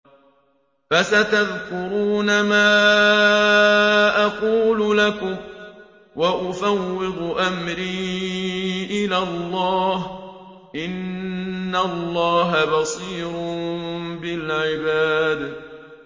فَسَتَذْكُرُونَ مَا أَقُولُ لَكُمْ ۚ وَأُفَوِّضُ أَمْرِي إِلَى اللَّهِ ۚ إِنَّ اللَّهَ بَصِيرٌ بِالْعِبَادِ